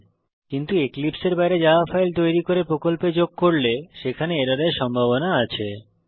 কিন্তু আমরা যদি এক্লিপসে এর বাইরে জাভা ফাইল তৈরী করি এবং প্রকল্পে যোগ করি সেখানে এররের সম্ভাবনা আছে